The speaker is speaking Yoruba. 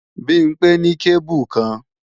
Bimpé ní kébù kan